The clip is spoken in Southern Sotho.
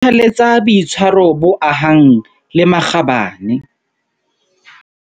Kgothaletsa boitshwaro bo ahang le makgabane.